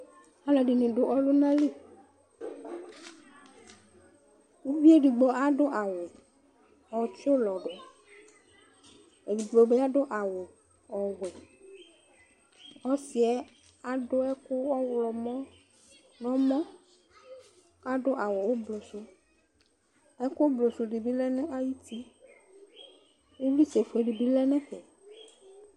Alʋɛdini dʋ ɔlʋnali ʋvi edigbo adʋ awʋ ɔtsi ʋlɔdʋ edigbobi adʋbawʋ ɔwʋɛ ɔsi yɛ adʋ ɛkʋ ɔwlɔmɔ nʋ ɔmɔ adʋ awʋ ʋblʋsʋ ɛkʋ ʋblʋsʋ dibi lɛnʋ ayʋ uti ivlitsɛfue dibi lɛnʋ ɛfɛ